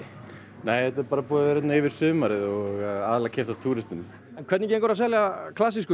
nei þetta er bara búið að vera hérna yfir sumarið og aðallega keypt af túristum en hvernig gengur að selja klassísku